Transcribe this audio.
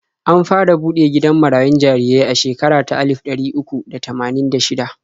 An fara buɗe gidan marayun jarirai a shekara ta alif ɗari uku da tamanin da shida.